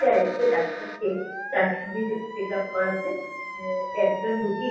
এসেছে ডাক্তারকে তার শরীরের চেক আপ করাতে। আ একজন রুগীর--